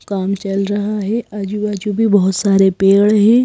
काम चल रहा है आजू बाजू भी बहुत सारे पेड़ हैं।